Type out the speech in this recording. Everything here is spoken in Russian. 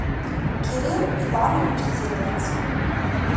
кирилл иванович зеленский